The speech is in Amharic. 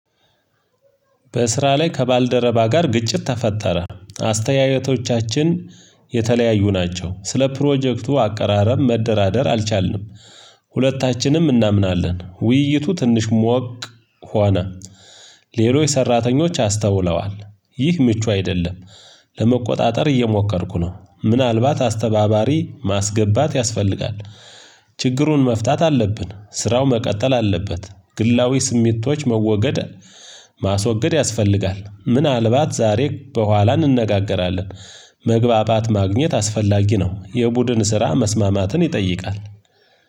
በስራ ላይ ከባልደረባ ጋር ግጭት ተፈጠረ አስተያየቶቻችን የተለያዩ ናቸው ስለ ፕሮጀክቱ አቀራረብ መደራደር አልቻልንም። ሁለታችንም እናምናለን ውይይቱ ትንሽ ሞቅ ሆነ። ሌሎች ሰራተኞች አስተውለዋል ይህ ምቹ አይደለም። ለመቆጣጠር እየሞከርኩ ነው ምናልባት አስተባባሪ ማስገባት ያስፈልጋል። ችግሩን መፍታት አለብን ስራው መቀጠል አለበት። ግላዊ ስሜቶች መወገድ ማስወገድ ያስፈልጋል ምናልባት ዛሬ በኋላ እንነጋገራለን። መግባባት ማግኘት አስፈላጊ ነው። የቡድን ስራ መስማማትን ይጠይቃል።